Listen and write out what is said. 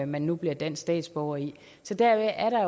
man nu bliver dansk statsborger i så deri er